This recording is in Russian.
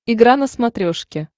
игра на смотрешке